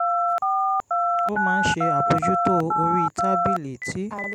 o ma n se abojuto ori tabili ti